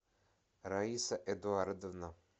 раиса эдуардовна